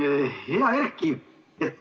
Hea Erki!